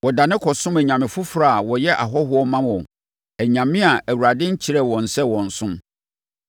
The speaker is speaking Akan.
Wɔdane kɔsom anyame foforɔ a wɔyɛ ahɔhoɔ ma wɔn, anyame a Awurade nkyerɛɛ wɔn sɛ wɔnsom.